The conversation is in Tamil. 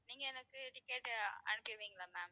நீங்க எனக்கு ticket அனுப்பிருவீங்களா ma'am